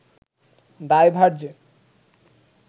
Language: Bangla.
দায়ভার যে